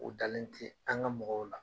U dalen ti, an ga mɔgɔw la.